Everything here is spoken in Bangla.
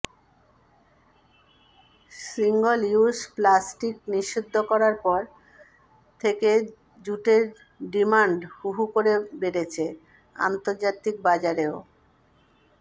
সিঙ্গল ইউস প্লাস্টিক নিষিদ্ধ করার পর থেকে জুটের ডিমান্ড হুহু করে বেড়েছে আন্তর্জাতিক বাজারেও